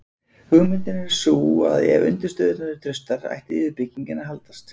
Hugmyndin er sú að ef undirstöðurnar eru traustar ætti yfirbyggingin að haldast.